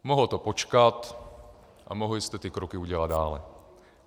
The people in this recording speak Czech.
Mohlo to počkat a mohli jste ty kroky udělat dále.